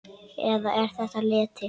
Eða er þetta leti?